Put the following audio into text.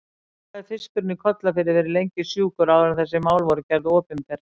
Hvað hafði fiskurinn í Kollafirði verið lengi sjúkur áður en þessi mál voru gerð opinber?